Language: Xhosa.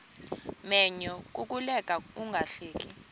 menyo kukuleka ungahleki